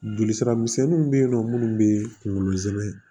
Joli sira misɛnninw be yen nɔ munnu bee kungolo zɛmɛ